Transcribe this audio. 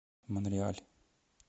монреаль